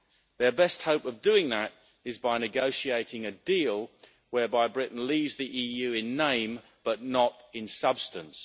Their best hope of doing that is by negotiating a deal whereby Britain leaves the EU in name, but not in substance.